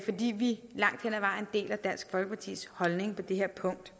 fordi vi langt hen ad vejen deler dansk folkepartis holdning på det her punkt